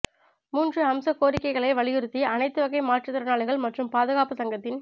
மூன்று அம்ச கோரிக்கைகளை வலியுறுத்தி அனைத்து வகை மாற்றுத்திறனாளிகள் மற்றும் பாதுகாப்பு சங்கத்தின்